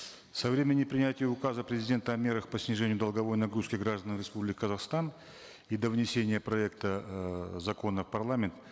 со времени принятия указа президента о мерах по снижению долговой нагрузки граждан республики казахстан и до внесения проекта эээ закона в парламент